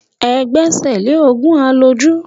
Ẹ gbẹ́sẹ̀ lé òògùn àlòjù.